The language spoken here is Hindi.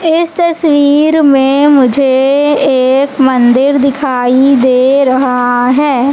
इस तस्वीर में मुझे एक मंदिर दिखाई दे रहा हैं।